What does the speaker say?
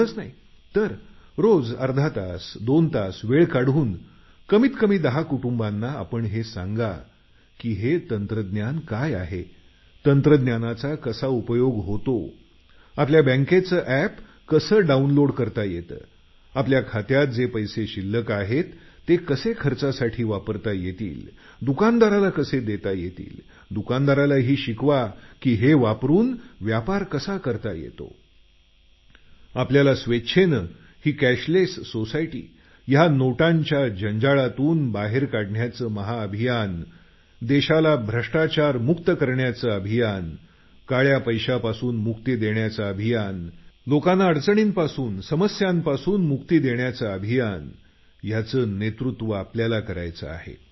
एवढंच नाही तर दररोज अर्धा तास दोन तास वेळ काढून कमीत कमी दहा कुटुंबांना आपण हे सांगा की तंत्रज्ञान काय आहे तंत्रज्ञानाचा कसा उपयोग होतो आपल्या बँकेचं एप कसं डाऊनलोड करता येतं स्वतच्या खात्यातील शिल्लक पैसे कसे वापरता येतात दुकानदाराला पैसे कसे देता येतील दुकानदारालाही शिकवा की हे वापरून व्यापार कसा करता येतो आपल्याला स्वच्छेने ही कॅशलेस सोसायटी नोटांच्या जंजाळातून बाहेर काढण्याचं महाअभियान देशाला भ्रष्टाचारमुक्त करण्याचं अभियान काळा पैशातून मुक्त करण्याचं अभियान लोकांना अडचणींपासून समस्यांपासून मुक्ती देण्याचं अभियान याचं नेतृत्व आपल्याला करायचं आहे